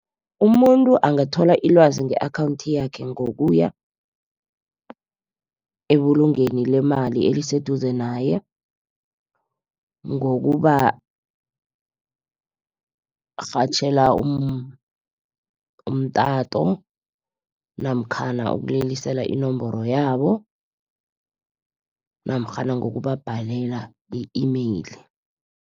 Umuntu angathola ilwazi nge-akhawunthi yakhe, ngokuya ebulungweni lemali eliseduze naye. Ngokubarhatjhela umtato namkhana ukulilisela inomboro yabo, namtjhana ngokubabhalela i-email.